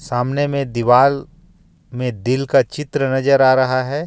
सामने में दीवाल में दिल का चित्र नजर आ रहा है.